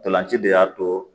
Ntolan ci de y'a to